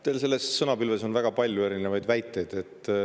Teil oli selles sõnapilves väga palju erinevaid väiteid.